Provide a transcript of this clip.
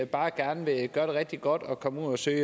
bare gerne vil gøre det rigtig godt og komme ud og søge